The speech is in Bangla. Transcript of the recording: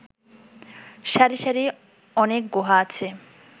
সারি সারি অনেক গুহা আছে